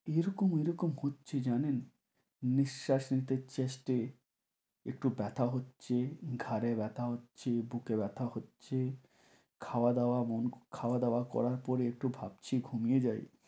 এরকম এরকম হচ্ছে জানেন? নিঃশ্বাস নিতে chest এ একটু ব্যথা হচ্ছে, ঘাড়ে ব্যথা হচ্ছে, বুকে ব্যথা হচ্ছে, খাওয়া দাওয়া বন~ খাওয়া দাওয়া করার পরে একটু ভাবছি ঘুমিয়ে যাই।